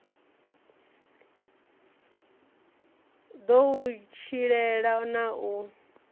ḓo u tshilela na u